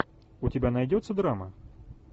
у тебя найдется драма